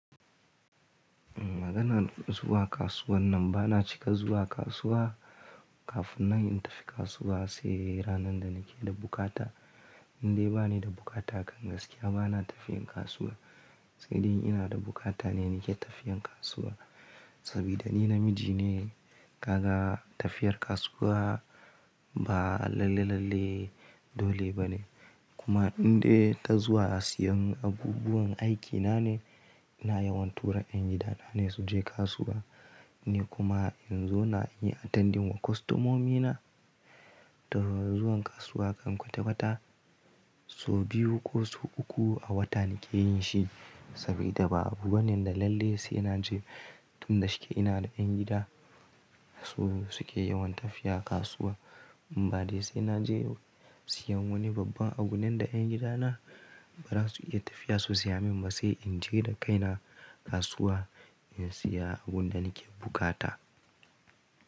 Maganar zuwa kasuwan nan bana cika zuwa kasuwa, kafin nan in tafi kasuwa sai ranar da nike da bukata. Indai bani da bukata kan gaskiya bana tafiyan kasuwa, sai dai ina da bukata ne nike tafiyan kasuwa. Saboda ni namiji ne, kaga tafiyar kasuwa ba lalle lalle dole bane. Kuma indai ta zuwa siyan abubuwan aikina ne, ina yawan tura 'yan gida na ne su je kasuwa. Ni kuma in zo na yi attendin wa kostomomina. Ta yaya zuwan kasuwa kan kwata-kwata, so biyu ko so uku a wata nike yin shi. Saboda ba abu wanda lalle sai naje, tun da shike ina da 'yan gida su suke yawan tafiya kasuwa. In ba daiel sai naje siyan wani babban abu nan da 'yan gidana ba za su iya tafiya su siya min ba, sai in je da kaina kasuwa in siya abun da nike bukata.